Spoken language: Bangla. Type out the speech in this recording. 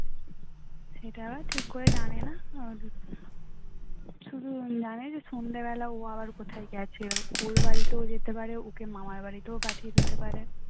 শুধু জানি সন্ধ্যা বেলায় ও কোথাও গেছে ওর বাড়িতেও যেতে পারে ওর মামার বাড়িতেও যেতে পারে